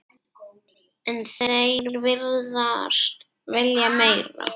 En þeir virðast vilja meira.